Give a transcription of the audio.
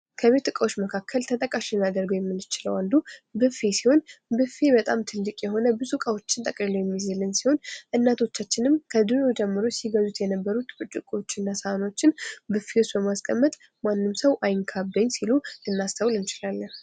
ከቤት እቃዎች ውስጥ አንዱ የሆነው ብፌ ሲሆን በጣም ትልቅ ብዙ እቃዎችን የሚይዝልን ሲሆን እናቶቻችን ከድሮ ጀምረው የሚገዙትን እቃዎች ብፌ ውስጥ በማስገባት ምንም ሰው አይንካብኝ ይላሉ።